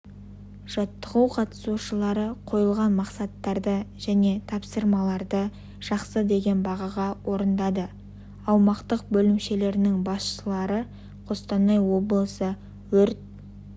жаттығу қатысушылары қойылған мақсаттарды және тапсырмаларды жақсы деген бағаға орындады аумақтық бөлімшелерінің басшылар қостанай облысы өрт